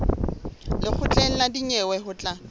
lekgotleng la dinyewe ho tla